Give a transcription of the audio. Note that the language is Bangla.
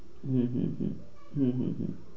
হম